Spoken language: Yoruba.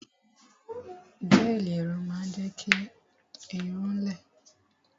Gẹ́ẹ̀lì irun máa ń jẹ́ kí irun-ún lẹ